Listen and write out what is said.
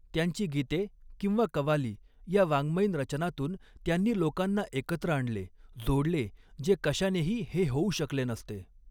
त्यांची गीते किंवा कवाली ह्या वाङ्मयीन रचनांतून त्यांनी लोकांना एकत्र आणले जोडले जे कशानेही हे होऊ शकले नसते.